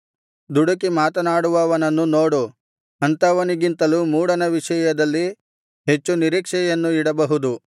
ದುಡುಕಿ ಮಾತನಾಡುವವನನ್ನು ನೋಡು ಅಂಥವನಿಗಿಂತಲೂ ಮೂಢನ ವಿಷಯದಲ್ಲಿ ಹೆಚ್ಚು ನಿರೀಕ್ಷೆಯನ್ನು ಇಡಬಹುದು